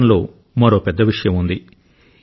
చట్టంలో మరో పెద్ద విషయం ఉంది